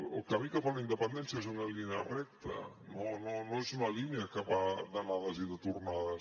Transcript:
el camí cap a la independència és una línia recta no no és una línia que va d’anades i de tornades